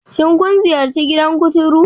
Shin kun ziyarci gidan kuturu?